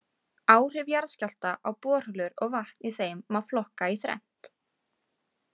Áhrif jarðskjálfta á borholur og vatn í þeim má flokka í þrennt.